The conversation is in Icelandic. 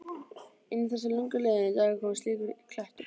Inn í þessa löngu liðnu daga kom slíkur klettur.